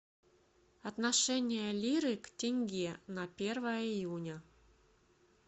отношение лиры к тенге на первое июня